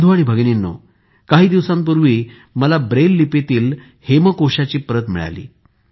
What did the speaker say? बंधू आणि भगिनींनो काही दिवसांपूर्वी मला ब्रेल लिपीतील हेमकोशाची प्रत सुद्धा मिळाली